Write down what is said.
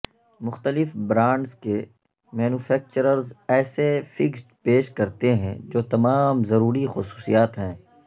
مختلف برانڈز کے مینوفیکچررز ایسے فکسڈ پیش کرتے ہیں جو تمام ضروری خصوصیات ہیں